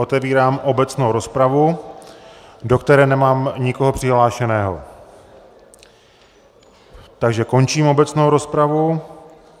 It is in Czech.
Otevírám obecnou rozpravu, do které nemám nikoho přihlášeného, takže končím obecnou rozpravu.